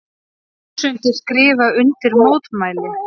Þúsundir skrifa undir mótmæli